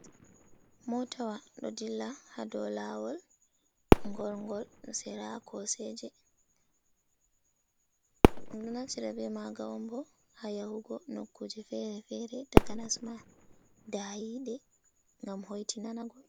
Motawa ɗo ɗilla ha dou lawol gongol sira koseje. ɗum ɗo naftira ɓe maga ha yahugo nokkuje fere-fere takanas ma ɗayiɗe gam hoiti nana goɗɗo.